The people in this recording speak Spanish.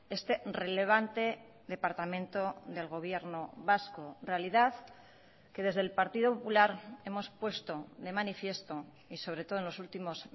este relevante departamento del gobierno vasco realidad que desde el partido popular hemos puesto de manifiesto y sobre todo en los últimos